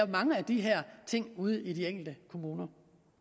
mange af de her ting ude i de enkelte kommuner